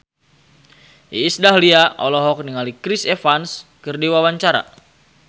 Iis Dahlia olohok ningali Chris Evans keur diwawancara